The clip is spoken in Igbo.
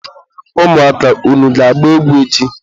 ụmụaka! unu ga-agba egwu echi!